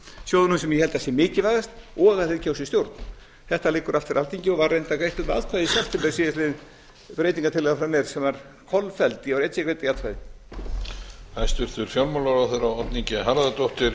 sjóðnum sem ég held að sé mikilvægast og að þeir kjósi stjórn þetta liggur allt fyrir alþingi og var reyndar greitt um atkvæði í september síðastliðinn breytingar frá mér sem var kolfelld ég var einn sem greiddi því atkvæði